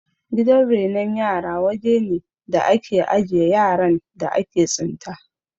Gidan renon yara wajene da ake ajiye yaran da aka tsinta